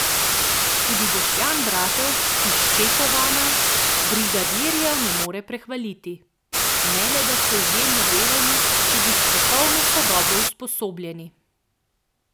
Tudi Boštjan Bratož iz Čepovana brigadirjev ne more prehvaliti: "Ne le da so izjemno delovni, tudi strokovno so dobro usposobljeni.